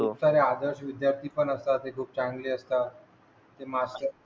काही आदर्श विद्याथ्री पण असतात त्या खूप चांगले असतात